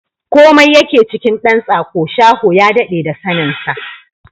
Komai yake cikin ɗan tsako, shaho ya daɗe da sanin sa!